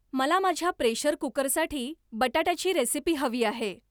मला माझ्या प्रेशर कुकरसाठी बटाट्याची रेसिपी हवी आहे